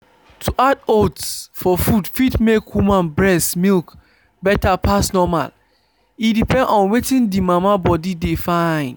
to add oats for food fit make woman breast milk better pass normal. e depend on wetin the mama body de fyn.